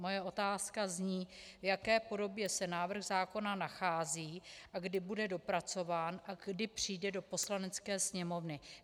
Moje otázka zní, v jaké podobě se návrh zákona nachází a kdy bude dopracován a kdy přijde do Poslanecké sněmovny.